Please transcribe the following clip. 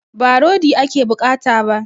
Ba rodi ake bukata ba